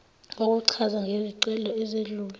kokuchaza ngezicelo ezedlule